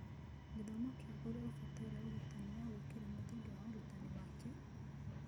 Gĩthomo kĩa Ũrĩa Ũbataire ũrutani wa gwĩkĩra mũthingi wa ũrutani wake,